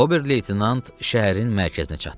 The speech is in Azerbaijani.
Oberleytenant şəhərin mərkəzinə çatdı.